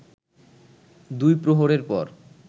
দুই প্রহরের পর